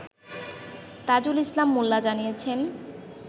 তাজুল ইসলাম মোল্লা জানিয়েছেন